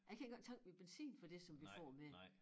Jeg kan ikke engang tanke min benzin for det som vi får mere